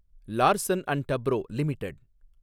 Larson and Toubro limited